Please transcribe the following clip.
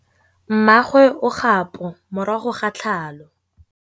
Mmagwe o kgapô morago ga tlhalô.